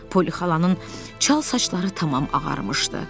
Poli xalanın çal saçları tamam ağarmışdı.